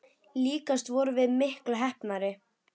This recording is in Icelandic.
Líkast til vorum við miklu heppnari.